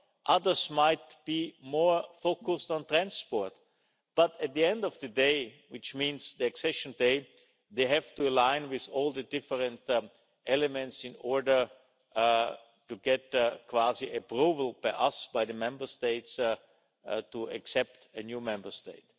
Others might be more focused on transport, but at the end of the day which means the accession day they have to align with all the different elements in order to get quasi-approval from us, the Member States, to accept a new Member State.